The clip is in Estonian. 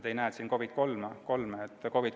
Te ei näe siin COVID III osakonda.